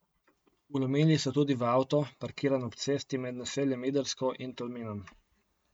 Vlomili so tudi v avto, parkiran ob cesti med naseljem Idrsko in Tolminom.